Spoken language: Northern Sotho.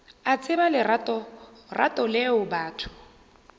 a tseba leratorato leo batho